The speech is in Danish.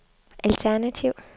alternativ